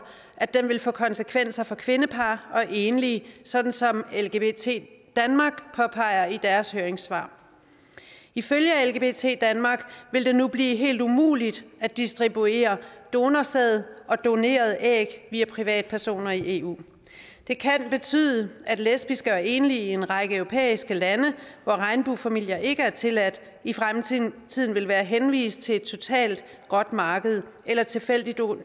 at den vil få konsekvenser for kvindepar og enlige sådan som lgbt danmark påpeger i deres høringssvar ifølge lgbt danmark vil det nu blive helt umuligt at distribuere donorsæd og donerede æg via privatpersoner i eu det kan betyde at lesbiske og enlige i en række europæiske lande hvor regnbuefamilier ikke er tilladt i fremtiden vil være henvist til et totalt gråt marked eller tilfældig